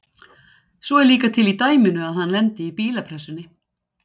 Svo er líka til í dæminu að hann lendi í bílapressunni.